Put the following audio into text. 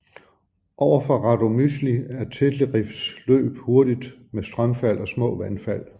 Ovenfor Radomysjl er Téterivs løb hurtigt med strømfald og små vandfald